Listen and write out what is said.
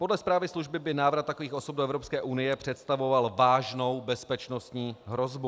Podle zprávy služby by návrat takových osob do Evropské unie představoval vážnou bezpečnostní hrozbu.